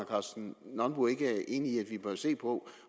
karsten nonbo ikke er enig i at vi bør se på